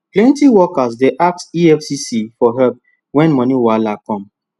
plenty workers dey ask nfcc for help when money wahala come